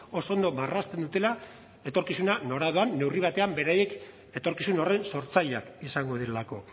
oso ondo marrazten dutela etorkizuna nora doan neurri batean beraiek etorkizun horren sortzaileak izango direlako